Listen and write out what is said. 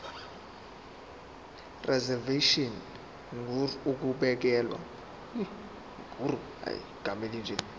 reservation ngur ukubekelwa